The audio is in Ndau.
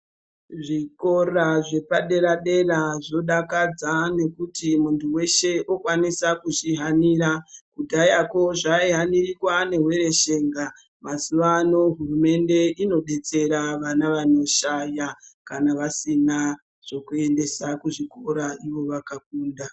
Zvikora zvepadera dera zvodakadza nekuti muntu weshe okwanisa kuzvihanira kudhayako zvaihanirwa neveshenga .Mazuvaano hurumende yodetsera vana vanoshaya kana vasina zvokuendesa kuzvikora ivo vakakunda.